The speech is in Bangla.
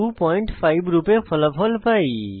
25 রূপে ফলাফল পাই